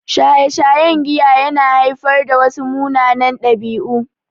Shaye-shayen giya ya na haifar da wasu munanan ɗabi'u